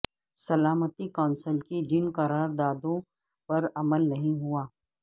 سلامتی کونسل کی جن قرار دادوں پر عمل نہیں ہوا